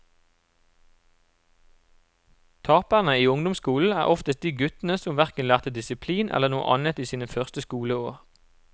Taperne i ungdomsskolen er oftest de guttene som hverken lærte disiplin eller noe annet i sine første skoleår.